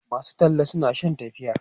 masu talla suna Shan tafiya